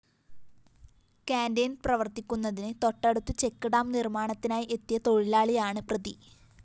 canteen പ്രവര്‍ത്തിക്കുന്നതിന് തൊട്ടടുത്ത് check dam നിര്‍മ്മാണത്തിനായി എത്തിയ തൊഴിലാളിയാണ് പ്രതി